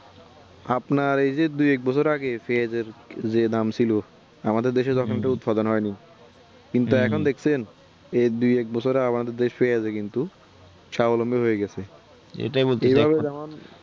আপনার এই যে দু এক বছর আগে পেঁয়াজ এর যে দাম ছিল আমাদের দেশ এ যখন উৎপাদন হয়নি কিন্তু এখন দেখছেন এই দু এক বছর এ আমাদের দেশ কিন্তু ছায়া লম্বি হয়ে গেছে এবারে যেমন